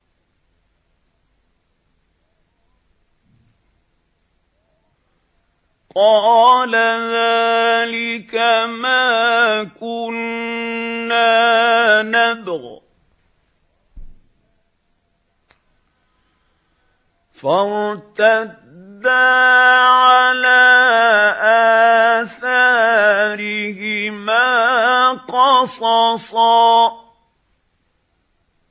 قَالَ ذَٰلِكَ مَا كُنَّا نَبْغِ ۚ فَارْتَدَّا عَلَىٰ آثَارِهِمَا قَصَصًا